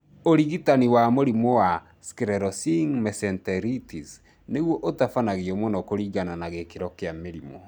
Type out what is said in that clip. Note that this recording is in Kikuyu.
ũrigitani wa mũrimũ wa sclerosing mesenteritis nĩguo ũtabanagio mũno kũringana na gĩkĩro kĩa mũrimũ